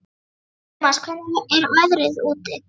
Tumas, hvernig er veðrið úti?